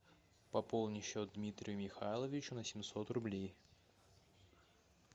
пополни счет дмитрию михайловичу на семьсот рублей